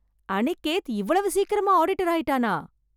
அனிகேத் இவ்வளவு சீக்கிரமா ஆடிட்டர் ஆயிட்டானா!